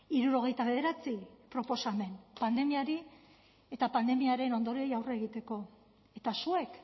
hirurogeita bederatzi proposamen pandemiari eta pandemiaren ondorioei aurre egiteko eta zuek